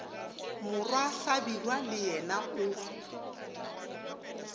morwa hlabirwa le yena o